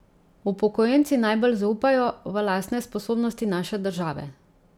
Upokojenci najbolj zaupajo v lastne sposobnosti naše države.